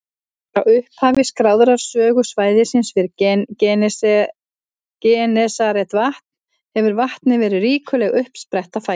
Frá upphafi skráðrar sögu svæðisins við Genesaretvatn hefur vatnið verið ríkuleg uppspretta fæðu.